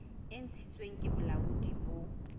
e ntshitsweng ke bolaodi bo